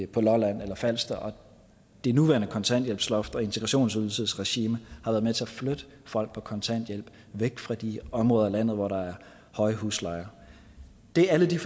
på lolland eller falster og det nuværende kontanthjælpsloft og integrationsydelsesregime har været med til at flytte folk på kontanthjælp væk fra de områder i landet hvor der er høje huslejer det er alle de